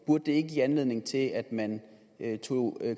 burde det ikke give anledning til at man tog